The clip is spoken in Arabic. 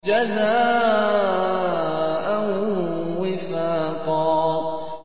جَزَاءً وِفَاقًا